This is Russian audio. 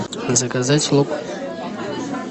заказать лук